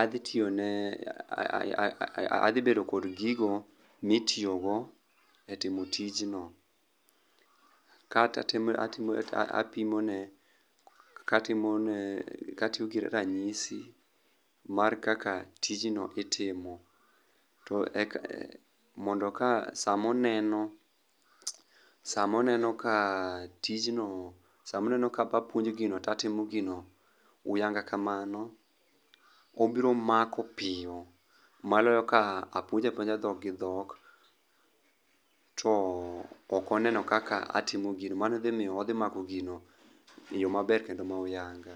adhi tiyone adhibedo kod gigo mitiyogo e timo tijno. Kata apimo ne katimone katiyo gi ranyisi mar kaka tijno itimo. To eka mondo ka sama oneno ka tijno samo oneno ka apuonje gino to atimo gino uyanga kamano, obiro mako piyo moloyo ka apuonje apuonja dhok gi dhok to ok oneno kaka atiom gino. Mani dhimiyo odhi mako gino eyo maber kenda ma uyanga.